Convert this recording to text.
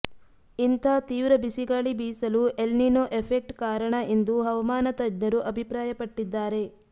ಇಂಥ ತೀವ್ರ ಬಿಸಿಗಾಳಿ ಬೀಸಲು ಎಲ್ನಿನೊ ಎಫೆಕ್ಟ್ ಕಾರಣ ಎಂದು ಹವಾಮಾನ ತಜ್ಞರು ಅಭಿಪ್ರಾಯಪಟ್ಟಿದ್ದಾರೆ